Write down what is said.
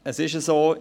Es ist so: